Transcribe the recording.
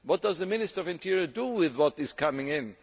What does the Ministry of the Interior do with what is coming in?